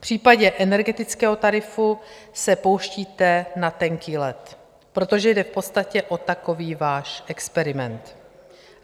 V případě energetického tarifu se pouštíte na tenký led, protože jde v podstatě o takový váš experiment.